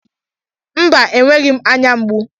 Mba, enweghị m ányá mgbu.